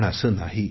पण असे नाही